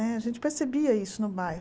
A gente percebia isso no bairro.